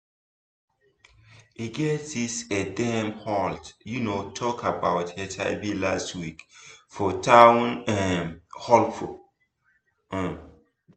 e get this eh dem hold um talk about hiv last week for town um hall um